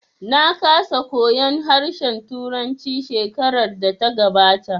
Na kasa koyan harshen turanci shekarar da ta gabata